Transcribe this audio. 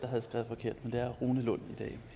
der er rune lund